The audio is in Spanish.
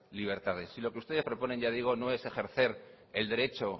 libertades y lo que ustedes proponen ya digo no es ejercer el derecho